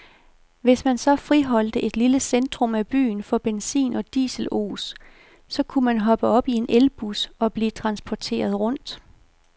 Hvis man så friholdte et lille centrum af byen for benzin og dieselos, så kunne man hoppe op i en elbus og blive transporteret rundt.